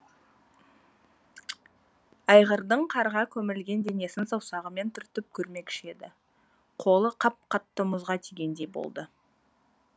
айғырдың қарға көмілген денесін саусағымен түртіп көрмекші еді қолы қап қатты мұзға тигендей болды